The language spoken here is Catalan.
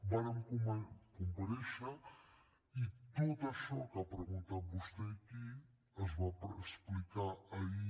vàrem comparèixer i tot això que ha preguntat vostè aquí es va explicar ahir